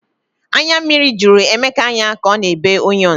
Anya mmiri jụrụ Emeka anya ka ọ na ebe onions